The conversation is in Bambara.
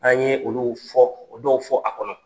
An ye olu fɔ dɔw fɔ a kɔnɔ.